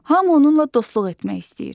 Hamı onunla dostluq etmək istəyir.